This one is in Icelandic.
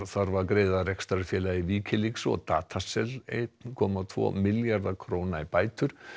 þarf að greiða rekstrarfélagi Wikileaks og einn komma tvo milljarða króna í bætur